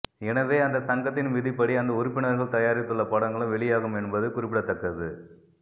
எனவே அந்த சங்கத்தின் விதிப்படி அந்த உறுப்பினர்கள் தயாரித்துள்ள படங்களும் வெளியாகும் என்பது குறிப்பிடத்தக்கது